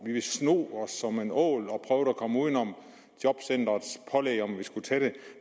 ville sno os som en ål og prøve at komme uden om jobcentrets pålæg om at vi skulle tage det